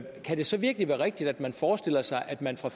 kan det så virkelig være rigtigt at man forestiller sig at man fra